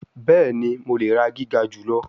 Bẹẹni, Mo le ra giga julọ